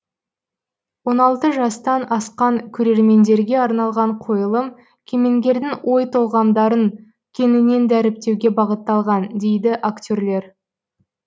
он алты жастан асқан көрермендерге арналған қойылым кемеңгердің ой толғамдарын кеңінен дәріптеуге бағытталған дейді актерлер